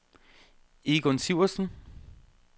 Egon Sivertsen